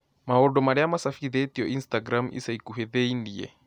Maũndũ marĩa macabithitio instagram ica ikuhĩ thĩinĩ